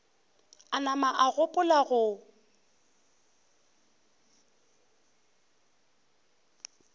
a nama a gopola go